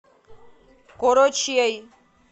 корочей